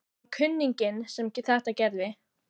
Það var kunninginn sem þetta gerði.